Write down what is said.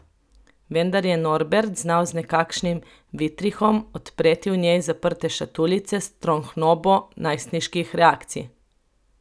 Vendar je Norbert znal z nekakšnim vitrihom odpreti v njej zaprte šatuljice s trohnobo najstniških reakcij.